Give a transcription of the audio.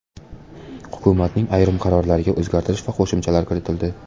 Hukumatning ayrim qarorlariga o‘zgartirish va qo‘shimchalar kiritildi .